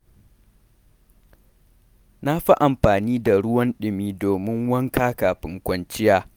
Na fi amfani da ruwan dumi domin wanka kafin kwanciya.